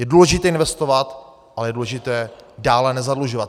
Je důležité investovat, ale je důležité dále nezadlužovat.